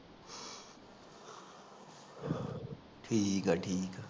ਠੀਕ ਆ ਠੀਕ